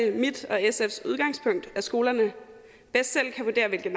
mit og sfs udgangspunkt at skolerne bedst selv kan vurdere hvilke